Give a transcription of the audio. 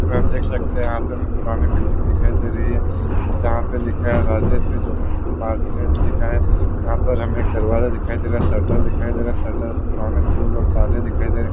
आप देख सकते है यहा पे हमें पुराना बिल्डिंग दिखाई दे रही है जहाँ पे लिखा है राजन मिश्रा मर्चेंट लिखा हैयहा पर हमें एक दरवाजा दिखाई दे रहा है शटर दिखाई दे रहा है और शटर मै पुराने फूल और ताले दिखाई दे रहे है।